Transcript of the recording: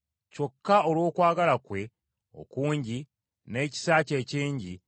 Kyokka olw’okwagala kwe okungi, n’ekisa kye ekingi,